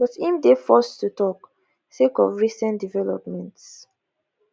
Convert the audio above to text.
but im dey forced to tok sake of recent developments